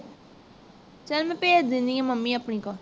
ਚਲ ਮੈਂ ਭੇਜ ਦੇਨੀ mommy ਹਾਂ ਅਪਣੀ ਕੋਲ